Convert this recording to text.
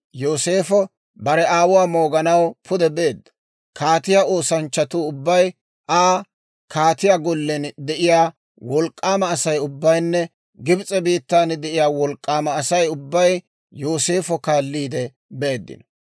Yooseefo bare aawuwaa mooganaw pude beedda. Kaatiyaa oosanchchatuu ubbay, Aa kaatiyaa gollen de'iyaa wolk'k'aama Asay ubbaynne Gibs'e biittaan de'iyaa wolk'k'aama Asay ubbay Yooseefa kaalliide beeddino.